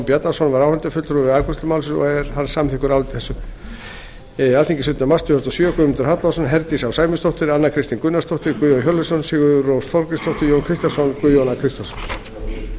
bjarnason var áheyrnarfulltrúi við afgreiðslu málsins og er hann samþykkur áliti þessu alþingi sautjánda mars tvö þúsund og sjö guðmundur hallvarðsson formaður frá herdís á sæmundardóttir anna kristín gunnarsdóttir guðjón hjörleifsson sigurrós þorgrímsdóttir jón kristjánsson guðjón a kristjánsson